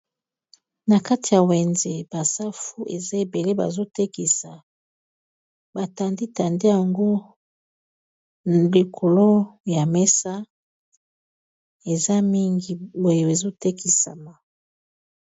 Na kati ya wenze ba safu eza ebele bazo tekisa, ba tandi tandi yango likolo ya mesa eza mingi boye ezo tekisama.